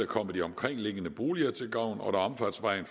kommer de omkringliggende boliger til gavn og da omfartsvejen